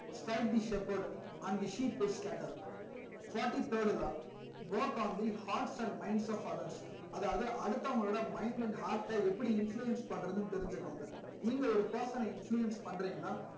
stripe the stepward and the sheep is scattered fourty third law work on the heart and minds of others அதாவது அடுத்தவங்கலோட mind and heart ட எப்படி influence பண்றதுன்னு தெரிஞ்சிகோங்க நீங்க ஒரு person ன influence பன்றிங்கனா